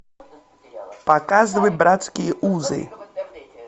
показывай братские узы